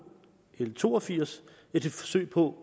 l to og firs et forsøg på